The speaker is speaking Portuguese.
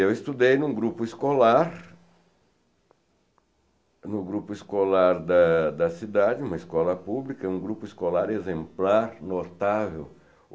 E eu estudei em um grupo escolar, no grupo escolar da da cidade, uma escola pública, um grupo escolar exemplar, notável.